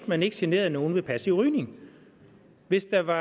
man ikke generede nogen med passiv rygning hvis der var